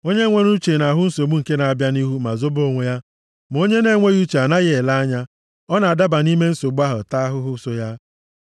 Onye nwere uche na-ahụ nsogbu nke na-abịa nʼihu ma zobe onwe ya, ma onye na-enweghị uche anaghị ele anya, ọ na-adaba nʼime nsogbu ahụ taa ahụhụ so ya.